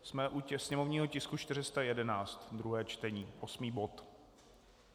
Jsme u sněmovního tisku 411 - druhé čtení, osmý bod.